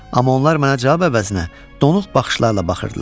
Amma onlar mənə cavab əvəzinə donuq baxışlarla baxırdılar.